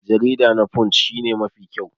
Jarida na punch shi ne Mafi kyau.